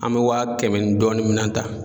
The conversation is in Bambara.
An bɛ waa kɛmɛ dɔɔni minan ta.